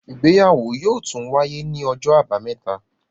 Ìgbéyàwó yóò tún wáyé ní Ọjọ́ Àbàmẹ́ta.